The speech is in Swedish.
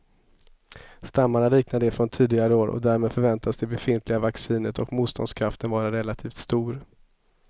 Stammarna liknar de från tidigare år och därmed förväntas det befintliga vaccinet och motståndskraften vara relativt stor.